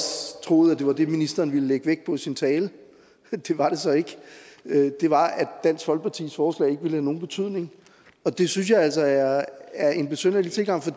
troet at det var det ministeren ville lægge vægt på i sin tale det var det så ikke det var at dansk folkepartis forslag ikke ville have nogen betydning det synes jeg altså er en besynderlig tilgang for